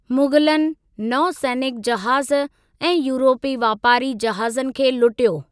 मुग़लनि नौसैनिक जहाज़ ऐं यूरोपी वापारी जहाज़नि खे लूटियो।